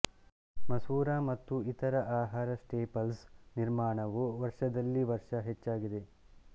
ಮಸೂರ ಮತ್ತು ಇತರ ಆಹಾರ ಸ್ಟೇಪಲ್ಸ್ ನಿರ್ಮಾಣವು ವರ್ಷದಲ್ಲಿ ವರ್ಷ ಹೆಚ್ಚಾಗಿದೆ